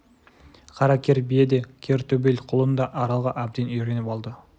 қара кер бие де кер төбел құлын да аралға әбден үйреніп алды